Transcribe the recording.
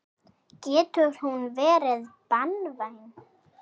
Getur hún verið banvæn.